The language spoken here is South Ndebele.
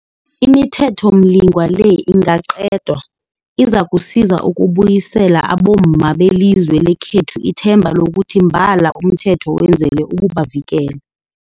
ImiThethomlingwa le ingaqedwa, izakusiza ukubuyisela abomma belizwe lekhethu ithemba lokuthi mbala umthetho wenzelwe ukubavikela.